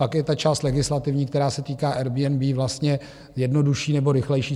Pak je ta část legislativní, která se týká Airbnb, vlastně jednodušší nebo rychlejší.